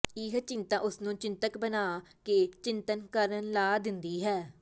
ਇਹ ਚਿੰਤਾ ਉਸਨੂੰ ਚਿੰਤਕ ਬਣਾ ਕੇ ਚਿੰਤਨ ਕਰਨ ਲਾ ਦਿੰਦੀ ਹੈ